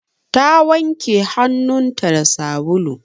Ta wanke hannunta da sabulu.